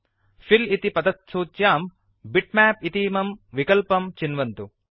fill इति पतत्सूच्यां bitmap इतीमं विकल्पं चिन्वन्तु